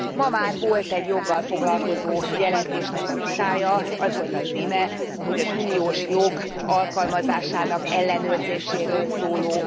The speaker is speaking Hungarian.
Ma már volt egy joggal foglalkozó jelentésnek a vitája, az volt a címe, hogy az uniós jog alkalmazásának ellenőrzéséről szóló